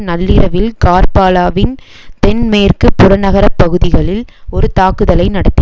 நள்ளிரவில் கார்பாலாவின் தென் மேற்கு புறநகரப்பகுதிகளில் ஒரு தாக்குதலை நடத்தி